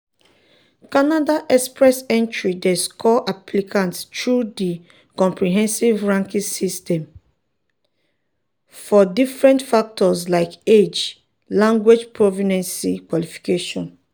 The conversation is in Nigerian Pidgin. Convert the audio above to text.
canada express entry dey score applicants through di comprehensive ranking system (crs) for different factors like age language proficiency qualifications.